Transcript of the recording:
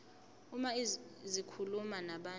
uma zikhuluma nabantu